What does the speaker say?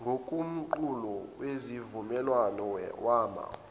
ngokomqulu wesivumelwano wama